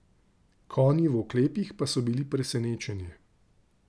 Konji v oklepih pa so bili presenečenje.